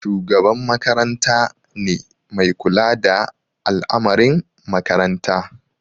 Shugaban makaranta ne mai kula da al'amarin makaranta.